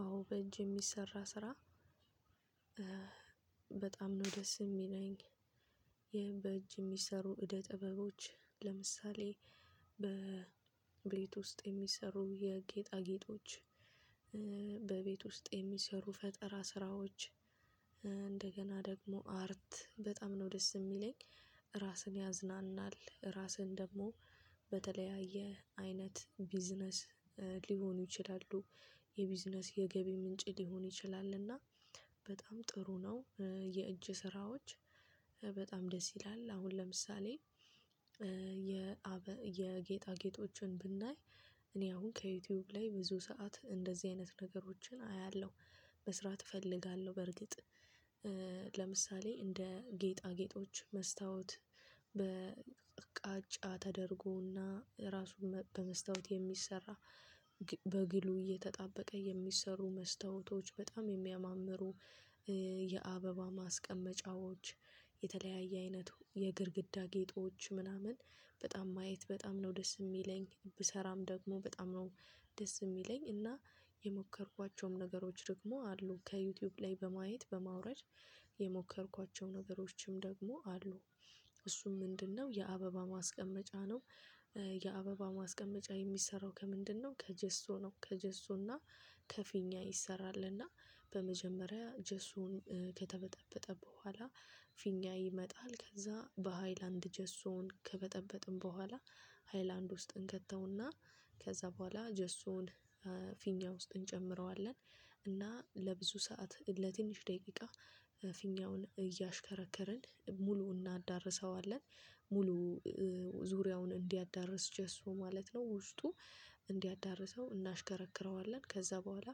አዎ በእጅ የሚሰራ ስራ። በጣም ነው ደስ የሚለኝ በእጅ የሚሰሩ እደ ጥበቦች ለምሳሌ በቤት ውስጥ የሚሰሩ የጌጣጌጦች በቤት ውስጥ የሚሰሩ ፈጠራ ስራዎች እንደገና ደግሞ አርት በጣም ነው ደስ የሚለኝ። ራስን ያዝናናል ራስን ደግሞ በተለያየ አይነት ቢዝነስ ሊሆኑ ይችላሉ የቢዝነስ የገቢ ምንጭ ሊሆን ይችላልና። በጣም ጥሩ ነው የእጅ ስራዎች። በጣም ደስ ይላል። አሁን ለምሳሌ የጌጣጌጦችን ብናይ እኔ አሁን ከዩቲዩብ ላይ ብዙ ሰዓት እንደዚህ አይነት ነገሮችን አያለሁ መስራት እፈልጋለሁ። በርግጥ ለምሳሌ እንደ ጌጣ ጌጦች መስታወት በቃጫ ተደርጎና ራሱን በመስታወት የሚሰራ በግሉ እየተጣበቀ የሚሰሩ መስታወቶች በጣም የሚያማምሩ። የአበባ ማስቀመጫዎች የተለያየ አይነቱ የግድግዳ ጌጦች ምናምን በጣም ማየት በጣም ነው ደስ የሚለኝ ብሰራም ደግሞ በጣም ነው ደስ የሚለኝ። እና የሞከርኳቸውም ነገሮች ደግሞ አሉ ከዩቲዩብ ላይ በማየት በማውረድ የሞከርኳቸው ነገሮችም ደግሞ አሉ። እሱም ምንድነው? የአበባ ማስቀመጫ ነው የአበባ ማስቀመጫ የሚሰራው ከምንድነው ከጀሶነው ከጀሶና ከፊኛ ይሰራልና። በመጀመሪያ ጀሶው ከተበጠበጠ በኋላ ፊኛ እይመጣል ከዛ በሃይላንድ ጀስቶን ከበጠበጥን በኋላ ሃይላንድ ውስጥን እንከተውና ከዛ በኋላ ጀሶን ፊኛ ውስጥ እንጨምረዋለን። እና ለብዙ ሰዓት ለትንሽ ደቂቃ ፊኛውን እያሽከረከርን ሙሉ እናዳርሰዋለን ሙሉ ዙሪያውን እንዲያዳርስ ጀስት ማለት ነው። ውስጡ እንዲያዳርሰው እናሽከረክረዋለን ከዛ በኋላ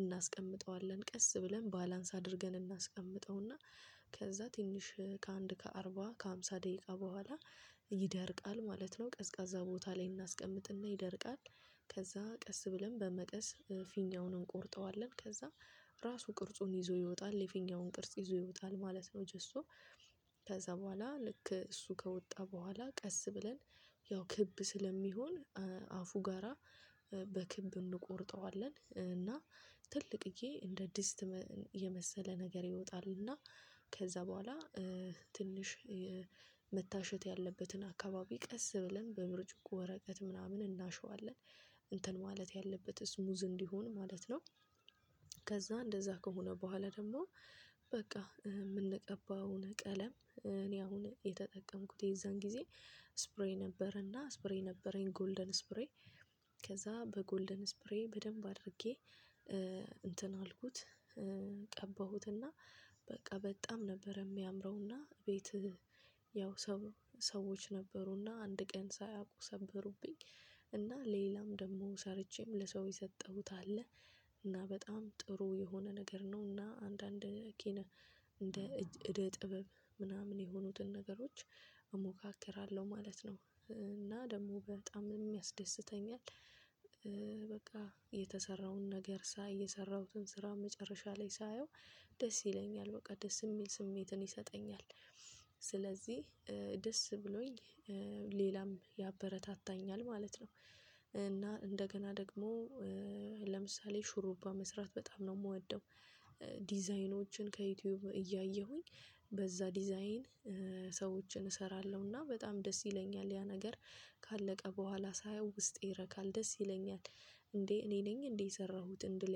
እናስቀምጠዋለን ቀስ ብለን ባላንስ አድርገን እናስቀምጠውና። ከዛ ትንሽ ከአንድ ከአርባ ከሃምሳ ደቂቃ በኋላ ይደርቃል ማለት ነው ቀዝቃዛ ቦታ ላይ እናስቀምጥና ይደርቃል። ከዛ ቀስ ብለን በመቀስ ፊኛውን እንቆርጠዋለን ከዛ ራሱ ቅርጹን ይዞ ይወጣል የፊኛውን ቅርጽ ይዞ ይወጣል ማለት ነው። ጀሱ ከዛ በኋላ ልክ እሱ ከወጣ በኋላ ቀስ ብለን ያው ክብ ስለሚሆን አፉ ጋራ በክብ እንቆርጠዋለን እና ትልቅዬ እንደ አዲስ የመሰለ ነገር ይወጣል። እና ከዛ በኋላ ትንሽ መታሸት ያለበትን አካባቢ ቀስ ብለን በብርጭቆ ወረቀት ምናምን እናሸዋለን እንትን ማለት ያለበት ስሙዝ እንዲሆን ማለት ነው። ከዛ እንደዛ ከሆነ በኋላ ደግሞ በቃ የምንቀባውን ቀለም እኔ አሁን የተጠቀምኩት የዛን ጊዜ ስፕሬይ ነበረና ስፕሬይ ነበረኝ ጎልደን ስፕሬይ። ከዛ በጎልደን ስፕሬይ በደንብ አድርጌ እንትን አልኩት ቀባሁትና በቃ በጣም ነበር የሚያምረውና ቤትህ ያው ሰው ሰዎች ነበሩና አንድ ቀን ሳያውቁ ሰበሩብኝ። ሌላም ደግሞ ሰርቼም ለሰው የሰጠሁት አለ። እና በጣም ጥሩ የሆነ ነገር ነውና አንዳንድ ኬነ እንደ እደ ጥበብ ምናምን የሆኑትን ነገሮች እሞካክራለሁ ማለት ነው። እና ደግሞ በጣም የሚያስደስተኛል። በቃ የተሰራውን ነገር ሳይ የሰራሁትን ስራ መጨረሻ ላይ ሳየው ደስ ይለኛል በቃ ደስ የሚል ስሜትን ይሰጠኛል። ስለዚህ ደስ ብሎኝ ሌላም ያበረታታኛል ማለት ነው። እና እንደገና ደግሞ ለምሳሌ ሽሩባ መስራት በጣም ነው የምወደው። ከዩቲዩብ እያየሁኝ በዛ ዲዛይን ሰዎችን እሰራለሁና በጣም ደስ ይለኛል ያ ነገር ካለቀ በኋላ ሳየው ውስጤ ይረካል ደስ ይለኛል እንዴ እኔ ነኝ እንዴ የሰራሁትን ድል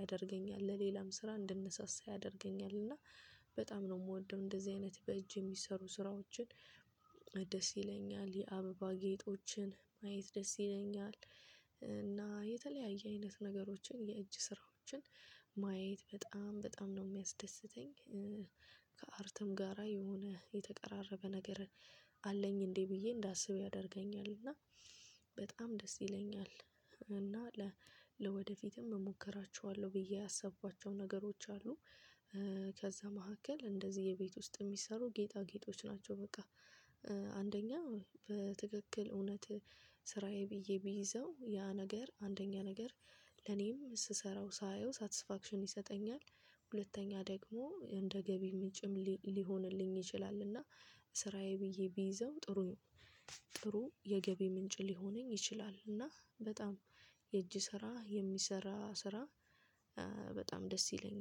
ያደርገኛል ለሌላም ስራ እንደነሳሳ ያደርገኛል እና በጣም ነው የምወደው። እንደዚህ አይነት በእጅ የሚሰሩ ስራዎችን ደስ ይለኛል የአበባ ጌጦችን ማየት ደስ ይለኛል። እና የተለያየ አይነት ነገሮችን የእጅ ስራዎችን ማየት በጣም በጣም ነው የሚያስደስተኝ። ከአርትም ጋራ የሆነ የተቀራረበ ነገር አለኝ እንዴ ብዬ እንዳስብ ያደርገኛል እና በጣም ደስ ይለኛል። እና ለ ወደፊትም እሞክራቸዋለሁ ብዬ ያሰብኳቸው ነገሮች አሉ። ከዛ መካከል እንደዚህ የቤት ውስጥ የሚሰሩ ጌጣ ጌጦች ናቸው። በቃ አንደኛ በትክክል እውነት ስራዬ ብዬ ቢይዘው ያ ነገር አንደኛ ነገር ለኔም ስሰራው ሳየው ሳትስፋክሽን ይሰጠኛል። ሁለተኛ ደግሞ እንደ ገቢ ምንጭም ሊሆንልኝ ይችላል። እና ስራዬ ብዬ ቢይዘው ጥሩ የገቢ ምንጭ ሊሆነኝ ይችላል። እና በጣም የእጅ ስራ የሚሰራ ስራ በጣም ደስ ይለኛል